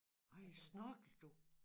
Ej snorklede du